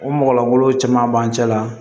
O mɔgɔ golo caman b'an cɛ la